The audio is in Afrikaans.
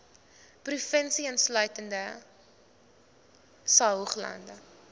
provinsie insluitende saoglande